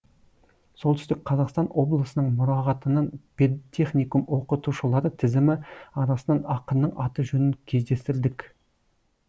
солтүстік қазақстан облысының мұрағатынан педтехникум оқытушылары тізімі арасынан ақынның аты жөнін кездестірдік